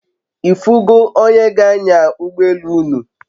Ifu go onye g'anya ugbo elu unu?